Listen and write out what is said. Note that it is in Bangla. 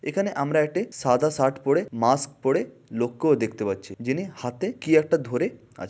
এখানে আমরা একটি সাদা শার্ট পরে মাস্ক পরে লোককেও দেখতে পাচ্ছি যিনি হাতে কি একটা ধরে আ--